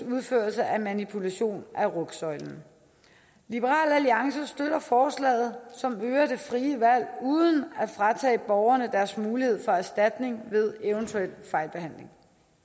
udførelse af manipulation af rygsøjlen liberal alliance støtter forslaget som øger det frie valg uden at fratage borgerne deres mulighed for erstatning ved eventuel fejlbehandling